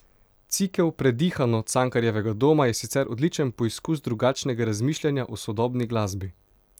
Cikel Predihano Cankarjevega doma je sicer odličen poizkus drugačnega razmišljanja o sodobni glasbi.